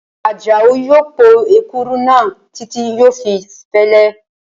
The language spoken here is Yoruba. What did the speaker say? Àjàó yóò po èkuru náà títí yóò fi fẹ́lẹ́